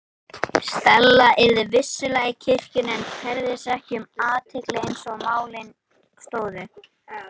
Stella yrði vissulega í kirkjunni en kærði sig ekki um athygli eins og málin stóðu.